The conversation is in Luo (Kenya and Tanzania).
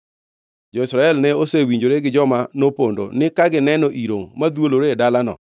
Jo-Israel ne osewinjore gi joma nopondo ni ka gineno iro madhwolore e dalano,